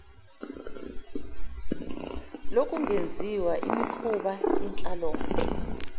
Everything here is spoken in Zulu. lokungenziswa imikhuba yenhlalonhle